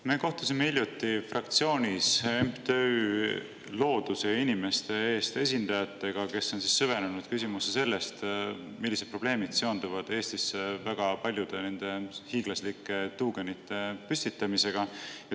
Me kohtusime hiljuti fraktsioonis MTÜ Looduse ja Inimeste Eest esindajatega, kes on süvenenud küsimusse, millised probleemid seonduvad Eestisse väga paljude hiiglaslike tuugenite püstitamisega.